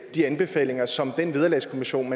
de anbefalinger som den vederlagskommission